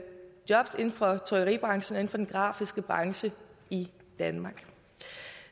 jobs inden for trykkeribranchen og inden for den grafiske branche i danmark